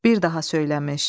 Bir daha söyləmiş: